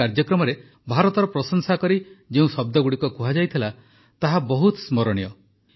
ଏହି କାର୍ଯ୍ୟକ୍ରମରେ ଭାରତର ପ୍ରଶଂସା କରି ଯେଉଁ ଶବ୍ଦଗୁଡ଼ିକ କୁହାଯାଇଥିଲା ତାହା ବହୁତ ସ୍ମରଣୀୟ